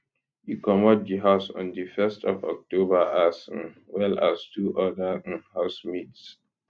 e comot di house on di 1st of october as um well as two oda um housemates